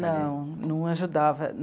Não, não ajudava.